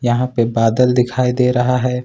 यहां पे बादल दिखाई दे रहा है।